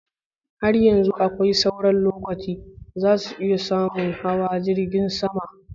Har yanzu akwai sauran lokaci! Zasu iya samun hawa jirgin saman.